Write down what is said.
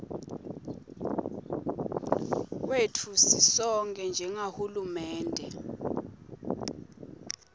kwetfu sisonkhe njengahulumende